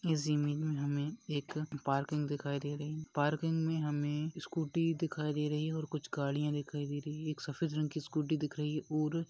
इस इमेज मे हमे एक पार्किंग दिखाए दे रही पार्किंग मे हमे स्कूटी दिखाई दे रही और कुछ गड़िया दिखाई दे रही हैं एक सफ़ेद रंग की स्कूटी दिख रही हैं और--